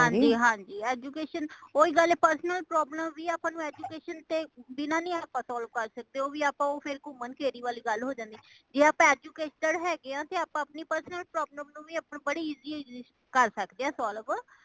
ਹਾਂਜੀ ਹਾਂਜੀ education ਓਹੀ ਗੱਲ ਹੈ personal problem ਵੀ ਆਪਾ ਨੂੰ education ਤੇ ਬਿਨਾਂ ਨਹੀਂ ਆਪਾ solve ਕਰ ਸਕਦੇ ਉਹ ਵੀ ਆਪਾ ਫੇਰ ਕੁਮਨ ਕੇਰੀ ਵਾਲੀ ਗੱਲ ਹੋ ਜਾਂਦੀ ਜੇ ਆਪਾ educated ਹੈਗੇ ਹੈ ਤਾ ਆਪਣੀ personal problem ਨੂੰ ਆਪਾ ਬੜੀ easily ਕਰ ਸਕਦੇ ਹੈ solve